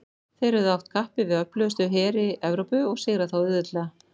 þeir höfðu att kappi við öflugustu heri evrópu og sigrað þá auðveldlega